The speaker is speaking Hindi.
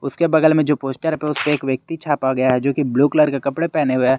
उसके बगल में जो पोस्टर है उसपे एक व्यक्ति छापा गया है जोकि ब्लू कलर का कपड़े पहने हुए है।